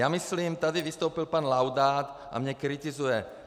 Já myslím, tady vystoupil pan Laudát a mě kritizuje.